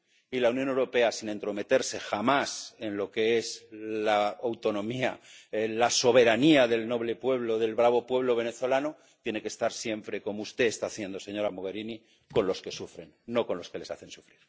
Y la Unión Europea, sin entrometerse jamás en lo que es la autonomía, en la soberanía del noble pueblo, del bravo pueblo venezolano, tiene que estar siempre ‒como usted está haciendo, señora Mogherini‒ con los que sufren, no con los que les hacen sufrir.